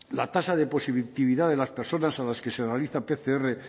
la tasa de positividad de las personas a las que se realiza pcr